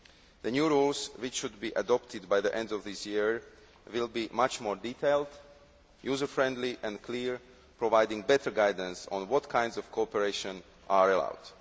The new rules, which should be adopted by the end of this year, will be much more detailed, user friendly and clear, providing better guidance on what kinds of cooperation are allowed.